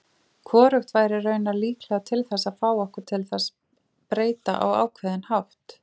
Hvorugt væri raunar líklega til þess að fá okkur til þess breyta á ákveðinn hátt.